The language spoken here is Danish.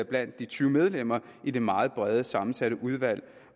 blandt de tyve medlemmer i det meget bredt sammensatte udvalg